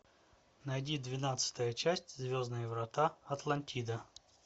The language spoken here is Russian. найди двенадцатая часть звездные врата атлантида